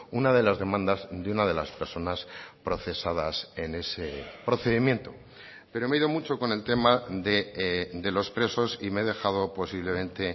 una de las demandas de una de las personas procesadas en ese procedimiento pero me he ido mucho con el tema de los presos y me he dejado posiblemente